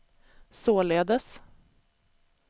således